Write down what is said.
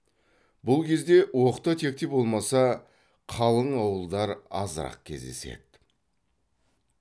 бұл кезде оқта текте болмаса қалың ауылдар азырақ кездеседі